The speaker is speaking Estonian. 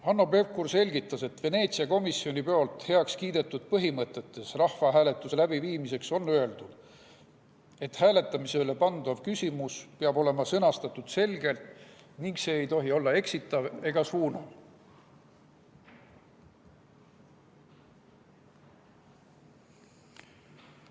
Hanno Pevkur selgitas, et Veneetsia komisjonis heakskiidetud põhimõtetes rahvahääletuste läbiviimiseks on öeldud, et hääletamisele pandav küsimus peab olema sõnastatud selgelt ning see ei tohi olla eksitav ega suunav.